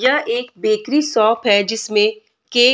यह एक bakery shop है जिसमे केक --